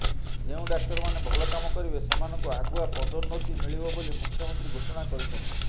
ଯେଉଁ ଡାକ୍ତରମାନେ ଭଲ କାମ କରିବେ ସେମାନଙ୍କୁ ଆଗୁଆ ପଦୋନ୍ନତି ମିଳିବ ବୋଲି ମୁଖ୍ୟମନ୍ତ୍ରୀ ଘୋଷଣା କରିଛନ୍ତି